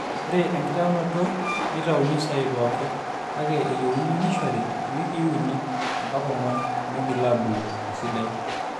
ore ekitaunoto neitauni saai pooki kake eyieuni nishori iwikii uni mbaka ong'wan meigila aabulu esidai